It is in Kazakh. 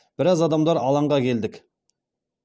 біраз адамдар алаңға келдік